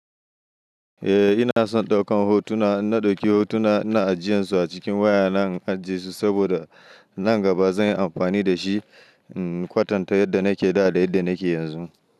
Eh ina son ɗaukan hotuna, inna ɗauki hotuna ina ajiyansu a cikin waya na in ajesu saboda, nan gaba zan yi amfani da shi in kwatanta yadda nake da da yadda nike yanzu.